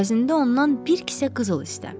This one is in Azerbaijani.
Əvəzində ondan bir kisə qızıl istə.